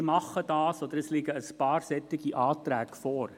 Wir machen das, respektive es liegen ein paar solche Anträge vor.